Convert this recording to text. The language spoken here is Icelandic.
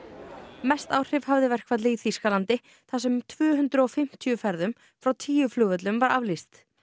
mest áhrif hafði verkfallið í Þýskalandi þar sem tvö hundruð og fimmtíu ferðum frá tíu flugvöllum var aflýst